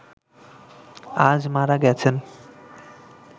আজ মারা গেছেন